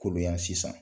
Kolo yan sisan